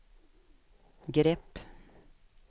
grepp